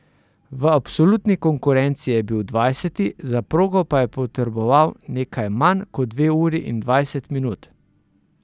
V absolutni konkurenci je bil dvajseti, za progo pa je potreboval nekaj manj kot dve uri in dvajset minut.